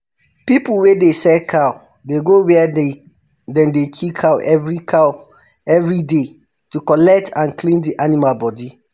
pipu wey dey sell cow dey go where dem dey kill cow everyday cow everyday to collect and clean di animal bodi